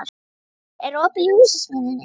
Gaukur, er opið í Húsasmiðjunni?